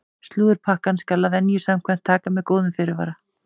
Slúðurpakkann skal venju samkvæmt taka með góðum fyrirvara!